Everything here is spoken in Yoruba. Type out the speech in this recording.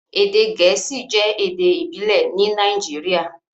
Èdè Gẹẹsi jẹ̀ èdè ìbílẹ̀ ní Nàìjíríà,